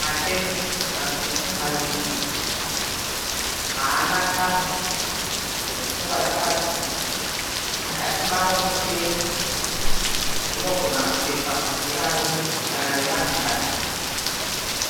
Matenisi matsvuku maviri. Haana tambo dzokusungwa dzakabviswa. Mukati mavo muchena. Dzinogona kupfekwa nevarume kana nevanhukadzi.